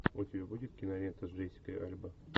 у тебя будет кинолента с джессикой альба